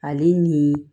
Ale ni